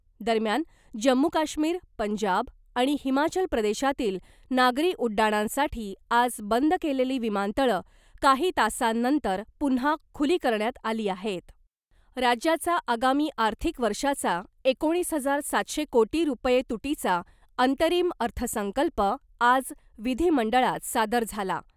दरम्यान , जम्मू काश्मीर , पंजाब आणि हिमाचल प्रदेशातील नागरी उड्डाणांसाठी आज बंद केलेली विमानतळं काही तासांनंतर पुन्हा खुली करण्यात आली आहेत. राज्याचा आगामी आर्थिक वर्षाचा , एकोणीस हजार सातशे कोटी रुपये तुटीचा अंतरिम अर्थसंकल्प आज विधीमंडळात सादर झाला .